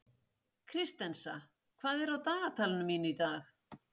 Kristensa, hvað er á dagatalinu mínu í dag?